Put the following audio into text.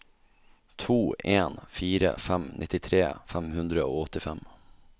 to en fire fem nittitre fem hundre og åttifem